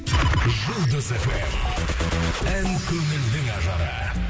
жұлдыз фм ән көңілдің ажары